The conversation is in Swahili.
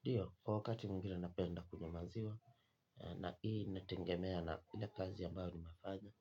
Ndio kwa wakati mwingine napenda kunywa maziwa na hii inategemea na kazi ambayo nimefanya.